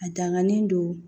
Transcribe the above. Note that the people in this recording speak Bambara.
A danganen do